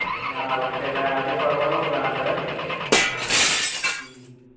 બરાબર છે, એટલે આજે ફરવાનો plan છે એમ ને? હમ